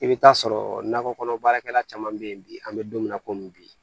I bɛ taa sɔrɔ nakɔ kɔnɔ baarakɛla caman bɛ yen bi an bɛ don min na komi bi